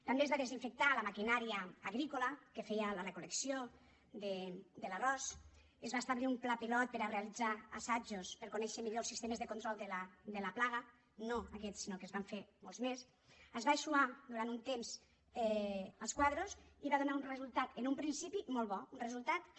també es va desinfectar la maquinària agrícola que feia la recol·lecció de l’arròs es va establir un pla pilot per a realitzar assajos per a conèixer millor els sistemes de control de la plaga no aquests sinó que se’n van fer molts més es van eixugar durant un temps els quadres i va donar un resultat en un principi molt bo un resultat que